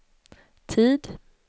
tid